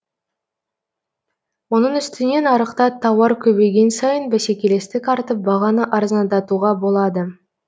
оның үстіне нарықта тауар көбейген сайын бәскелестік артып бағаны арзандатуға болады